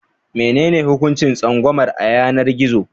Menene hukuncin tsangwamar a yanar gizo?